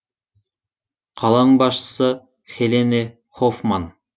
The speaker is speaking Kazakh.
қаланың басшысы хелене хофман